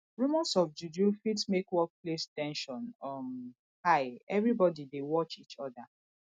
rumors of juju fit make workplace ten sion um high everybody dey watch each oda